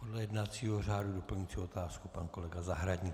Podle jednacího řádu doplňující otázku pan kolega Zahradník.